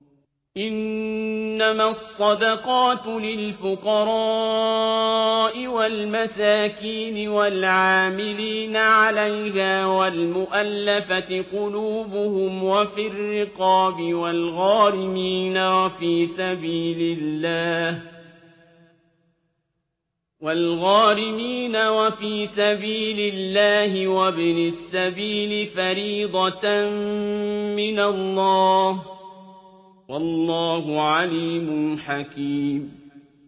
۞ إِنَّمَا الصَّدَقَاتُ لِلْفُقَرَاءِ وَالْمَسَاكِينِ وَالْعَامِلِينَ عَلَيْهَا وَالْمُؤَلَّفَةِ قُلُوبُهُمْ وَفِي الرِّقَابِ وَالْغَارِمِينَ وَفِي سَبِيلِ اللَّهِ وَابْنِ السَّبِيلِ ۖ فَرِيضَةً مِّنَ اللَّهِ ۗ وَاللَّهُ عَلِيمٌ حَكِيمٌ